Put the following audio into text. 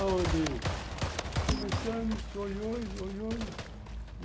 Aonde começamos, oi, oi, oi, oi.